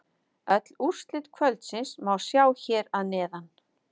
Öll úrslit kvöldsins má sjá hér að neðan